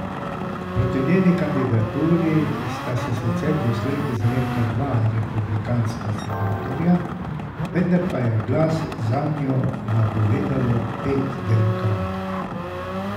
Proti njeni kandidaturi sta se sicer doslej izrekla dva republikanska senatorja, vendar pa je glas zanjo napovedalo pet demokratov.